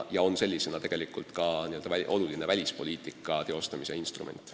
See on ka oluline välispoliitika teostamise instrument.